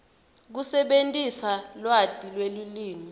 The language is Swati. kusebentisa lwati lwelulwimi